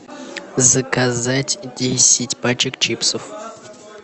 заказать десять пачек чипсов